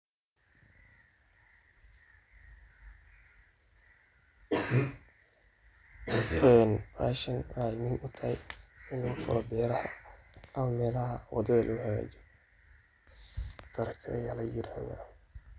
Een bahashan waxey muhim utaahay in lagu faalo beeraha ama melaha waadadha lagu hagajiiyo taraagta aya layiraada.